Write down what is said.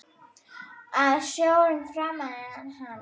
Að sjórinn faðmi hana.